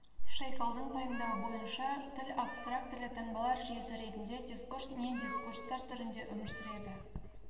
шейгалдың пайымдауы бойынша тіл абстрактілі таңбалар жүйесі ретінде дискурс не дискурстар түрінде өмір сүреді